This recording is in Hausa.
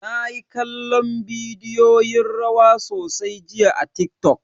Nayi kallon bidiyoyin rawa sosai jiya a TikTok.